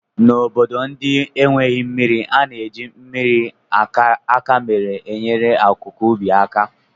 N'obodo ndị enweghị mmiri, a na-eji mmiri akamere enyere akụkụ ubi aka